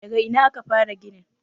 daga Ina aka fara ginin?